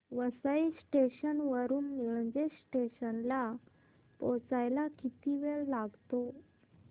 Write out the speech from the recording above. Vasai road station वरून Nilje station ला पोहचायला किती वेळ लागतो